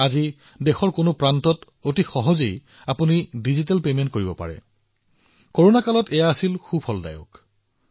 আজি যিকোনো স্থানত আপোনাৰ ডিজিটেল পৰিশোধ যিমানে সহজ হয় কৰোনাৰ এই সময়ত ই সিমানেই উপযোগী হয়